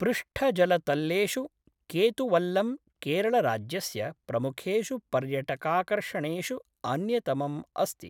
पृष्ठजलतल्लेषु केतुवल्लम् केरळराज्यस्य प्रमुखेषु पर्यटकाकर्षणेषु अन्यतमम् अस्ति।